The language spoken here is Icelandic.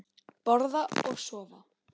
Borða og sofa.